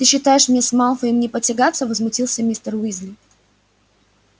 ты считаешь мне с малфоем не потягаться возмутился мистер уизли